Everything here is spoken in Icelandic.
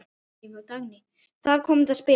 Þar kom þetta spil upp.